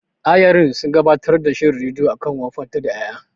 Ayarin sun gabatar da shirin rediyo akan wofantar da ƴaƴa.